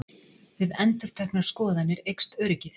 Við endurteknar skoðanir eykst öryggið.